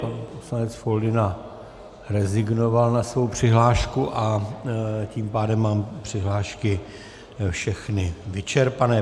Pan poslanec Foldyna rezignoval na svou přihlášku a tím pádem mám přihlášky všechny vyčerpané.